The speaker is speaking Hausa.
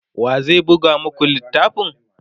wa zai buga maku littafin?